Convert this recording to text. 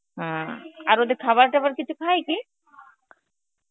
হম আর ওদের খাবারটাবার কিছু খায় কি